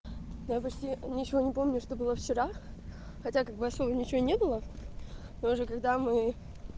я почти ничего не помню что было вчера хотя как бы особо ничего и не было но уже когда мы